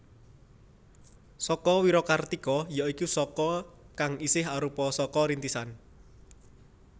Saka Wirakartika ya iku Saka kang isih arupa Saka Rintisan